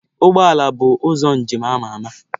Ụgbọ ala bụ ụzọ njem na-ama ama.